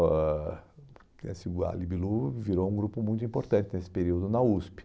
oh ãh esse a Libilu virou um grupo muito importante nesse período na USP.